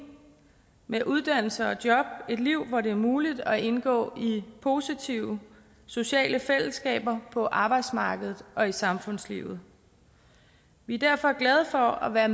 med uddannelse og job et liv hvor det er muligt at indgå i positive sociale fællesskaber på arbejdsmarkedet og i samfundslivet vi er derfor glade for at være